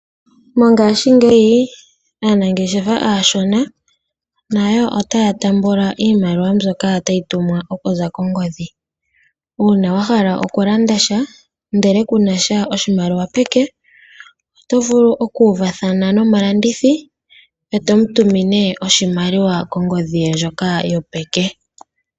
Mongashingeyi aanangeshefa aashona nayo otaya taamba iimaliwa mbyoka tayi tumwa okuza kongodhi. Uuna wa hala okulanda sha ndele kunasha oshimaliwa peke oto vulu oku uvathana nomulandithi eto mu tumine oshimaliwa kongodhi ye ndjoka yopeke.